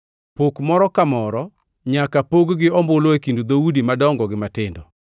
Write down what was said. Pok moro ka moro nyaka pog gi ombulu e kind dhoudi madongo gi matindo.”